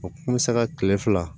O kun bɛ se ka kile fila